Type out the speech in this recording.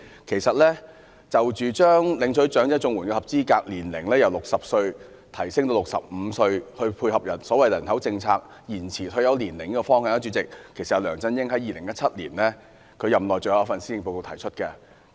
其實，將領取長者綜援的合資格年齡由60歲提高至65歲，以配合所謂"人口政策延遲退休年齡"的方向，是梁振英在2017年任內最後一份施政報告提出的。